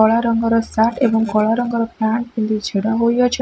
କଳା ରଙ୍ଗର ସାର୍ଟ ଏବଂ କଳା ରଙ୍ଗର ପ୍ୟାଣ୍ଟ ପିନ୍ଧି ଛିଡ଼ା ହୋଇ ଅଛ--